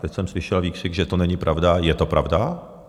Teď jsem slyšel výkřik, že to není pravda - je to pravda.